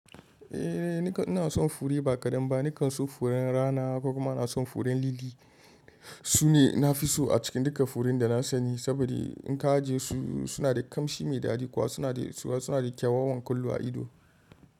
Eh, ni ka ina son fure ba kadan ba. Ni kan so furen rana kuma na son furen lili. Sune na fi so a cikin duka furen da na sani, saboda in ka ajiye su, suna da kamshi mai daɗi suna da kyawawan kullu a ido.